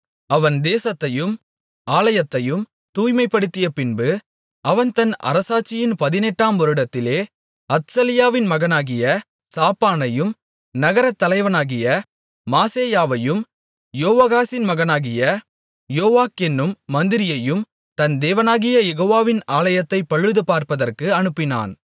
அவன் தேசத்தையும் ஆலயத்தையும் தூய்மைப்படுத்தியபின்பு அவன் தன் அரசாட்சியின் பதினெட்டாம் வருடத்திலே அத்சலியாவின் மகனாகிய சாப்பானையும் நகரத்தலைவனாகிய மாசெயாவையும் யோவாகாசின் மகனாகிய யோவாக் என்னும் மந்திரியையும் தன் தேவனாகிய யெகோவாவின் ஆலயத்தைப் பழுதுபார்ப்பதற்கு அனுப்பினான்